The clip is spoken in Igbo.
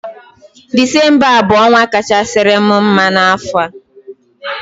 Disembabụ ọnwa kachasịri m mma n'afọ